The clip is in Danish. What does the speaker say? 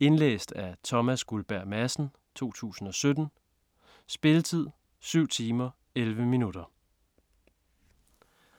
Indlæst af Thomas Guldberg Madsen, 2017. Spilletid: 7 timer, 11 minutter.